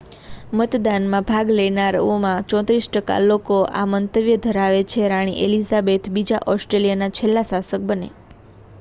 મતદાનમાં ભાગ લેનારાઓમાંના 34 ટકા લોકો આ મંતવ્ય ધરાવે છે રાણી એલિઝાબેથ બીજા ઑસ્ટ્રેલિયાના છેલ્લા શાસક બને